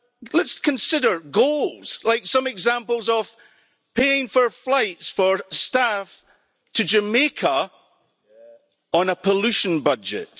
Let's consider goals, like some examples of paying for flights for staff to Jamaica on a pollution budget.